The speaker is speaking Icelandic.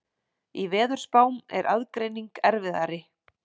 Í veðurspám er aðgreining erfiðari.